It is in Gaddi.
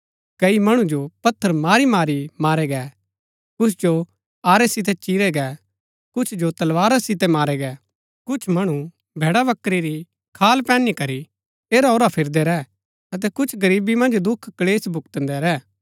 कई मणु जो पत्थर मारी मारी मारै गै कुछ जो आरै सितै चीरै गै कुछ जो तलवारा सितै मारै गै कुछ मणु भैड़ाबकरी री खाल पैहनी करी ऐराओरा फिरदै रै अतै कुछ गरीबी मन्ज दुख क्‍लेश भुक्‍तदै रैह